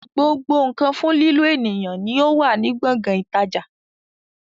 Gbogbo nkan fún lílo ènìyàn no ó wà ní gbọ̀ngàn ìtajà